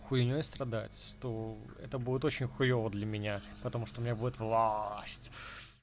хуйней страдать то это будет очень хуёво для меня потому что у меня будет влаасть